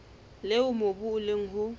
leo mobu o leng ho